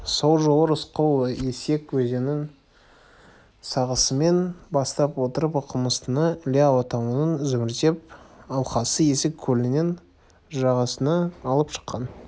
сол жолы рысқұл есік өзенінің сағасымен бастап отырып оқымыстыны іле алатауының зүмірет алқасы есік көлінің жағасына алып шыққан